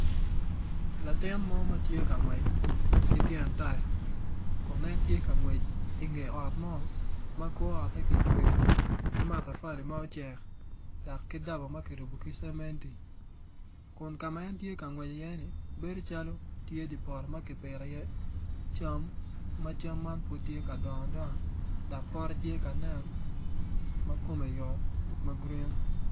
Latin mo ma tye ka ngwec ki tyen taya kun en tye ka ngwec inge ot mo ma kor ote kicweyo ki matafali ma ocek dok ki daba ma kirubo ki cementi kun ka ma en tye ka ngwec iye-ni bedo calo tye dye poto ma kipito iye cam ma cam man pud tye ka dongo adonga dok pote tye ka nen ma kome yot yot ma grin.